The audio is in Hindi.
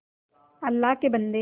अल्लाह के बन्दे